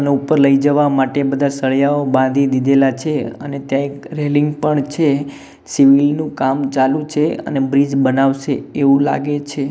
ને ઉપર લઈ જવા માટે બધા સળીયાઓ બાંધી દીધેલા છે અને ત્યાં એક રેલીંગ પણ છે કામ ચાલુ છે અને બ્રિજ બનાવસે એવુ લાગે છે.